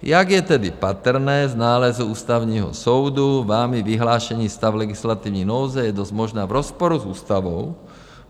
Jak je tedy patrné z nálezu Ústavního soudu, vámi vyhlášený stav legislativní nouze je dost možná v rozporu s ústavou.